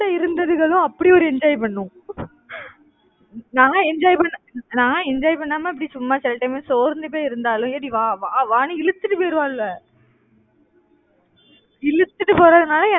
என் கூட இருந்ததுகளும் அப்படி ஒரு enjoy பண்ணும். நான் enjoy நான் enjoy பண்ணாம இப்படி சும்மா சில time சோர்ந்து போய் இருந்தாலும் ஏடி வா வான்னு இழுத்துட்டு போயிருவாளுக இழுத்துட்டு போறதுனால